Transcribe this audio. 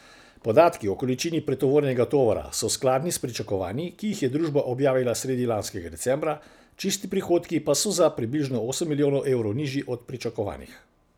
Podatki o količini pretovorjenega tovora so skladni s pričakovanji, ki jih je družba objavila sredi lanskega decembra, čisti prihodki pa so za približno osem milijonov evrov nižji od pričakovanih.